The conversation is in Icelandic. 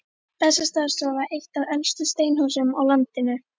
Bessastaðastofa, eitt af elstu steinhúsum á landinu.